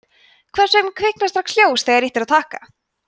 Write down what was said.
hvers vegna kviknar strax ljós þegar ýtt er á takka